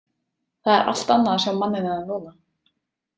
Það er allt annað að sjá manninn hennar núna.